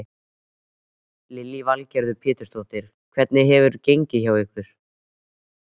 Lillý Valgerður Pétursdóttir: Hvernig hefur gengið hjá ykkur?